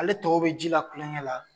Ale tɔgɔ bɛ ji la kulonkɛ la.